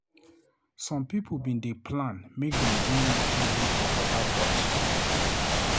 Some pipo bin dey plan make dem join nature group for Port Harecourt.